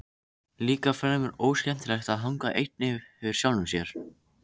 Líka fremur óskemmtilegt að hanga einn yfir sjálfum sér.